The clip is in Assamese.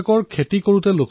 তেওঁৰ কাহিনীও আমোদজনক